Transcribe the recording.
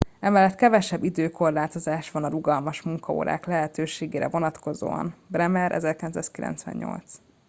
emellett kevesebb időkorlátozás van a rugalmas munkaórák lehetőségére vonatkozóan. bremer 1998